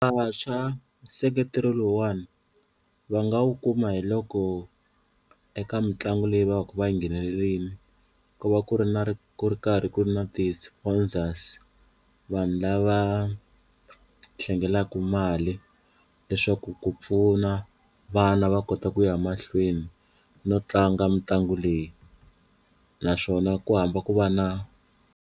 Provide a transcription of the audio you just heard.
Vantshwa nseketelo lowuwani va nga wu kuma hi loko eka mitlangu leyi va va ku va yi nghenelelini ku va ku ri na ri ku ri karhi ku ri na ti-sponsors, vanhu lava hlengelaku mali leswaku ku pfuna vana va kota ku ya mahlweni no tlanga mitlangu leyi naswona ku hamba ku va na.